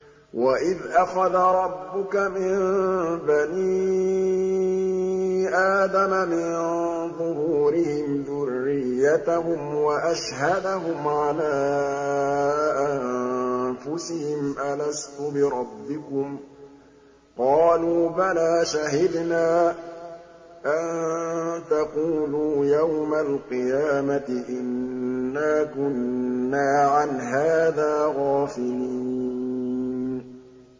وَإِذْ أَخَذَ رَبُّكَ مِن بَنِي آدَمَ مِن ظُهُورِهِمْ ذُرِّيَّتَهُمْ وَأَشْهَدَهُمْ عَلَىٰ أَنفُسِهِمْ أَلَسْتُ بِرَبِّكُمْ ۖ قَالُوا بَلَىٰ ۛ شَهِدْنَا ۛ أَن تَقُولُوا يَوْمَ الْقِيَامَةِ إِنَّا كُنَّا عَنْ هَٰذَا غَافِلِينَ